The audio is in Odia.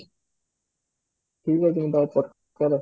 ଠିକ ଅଛି ମୁଁ ତାହାଲେ check କରେ